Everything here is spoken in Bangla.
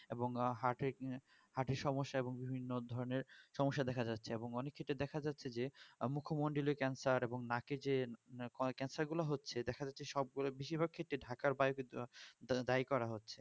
এবং হাটের হাটের সমেস্যা এবং বিভিন্ন ধরণের সমস্যা দেখা যাচ্ছে এবং অনেক ক্ষেত্রে দেখা যাচ্ছে যে মুখোমণ্ডলীও cancer এবং নাখে যে cancer গুলো হচ্ছে দেখা যাচ্ছে সব গুলো বেসিরভাগ ক্ষেত্রে ঢাকার দায় করা যাচ্ছে